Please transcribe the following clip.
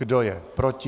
Kdo je proti?